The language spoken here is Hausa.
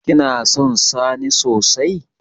Kina son sani sosai?